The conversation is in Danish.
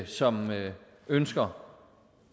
som ønsker